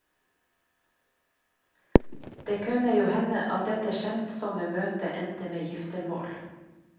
Det kunne jo hende at dette skjemtsomme møtet endte med giftermål.